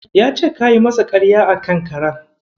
Ya ce kayi masa ƙarya a kan karen.